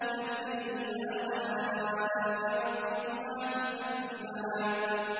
فَبِأَيِّ آلَاءِ رَبِّكُمَا تُكَذِّبَانِ